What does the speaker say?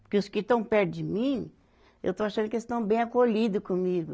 Porque os que estão perto de mim, eu estou achando que eles estão bem acolhidos comigo.